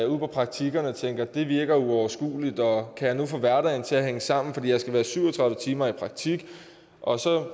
praktikkerne og tænker det virker uoverskueligt og kan jeg nu få hverdagen til at hænge sammen når jeg skal være syv og tredive timer i praktik og så